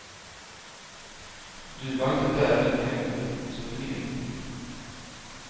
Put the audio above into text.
Du var inte där du heller, så du vet inte.